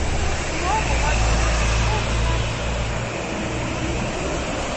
Mgbe ọ bụ nwata, Nwaokolo abụghị onye a ma ama n’ezinụlọ ya.